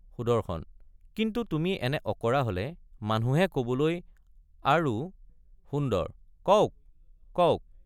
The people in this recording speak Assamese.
সুদৰ্শন কিন্তু তুমি এনে অঁকৰা হলে মানুহে কবলৈ আৰু— সুন্দৰ— কওক—কওক।